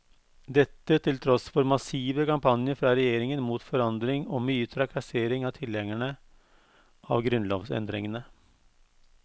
Dette til tross for massive kampanjer fra regjeringen mot forandring og mye trakassering av tilhengerne av grunnlovsendringene.